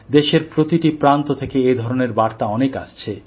দেশের প্রতিটি প্রান্ত থেকে এ ধরনের বার্তা অনেক আসছে